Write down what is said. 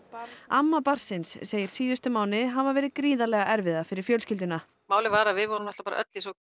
amma barnsins segir síðustu mánuði hafa verið gríðarlega erfiða fyrir fjölskylduna málið var að við vorum öll í svo